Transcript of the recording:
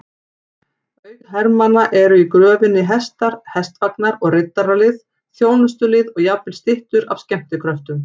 Auk hermanna eru í gröfinni hestar, hestvagnar og riddaralið, þjónustulið og jafnvel styttur af skemmtikröftum.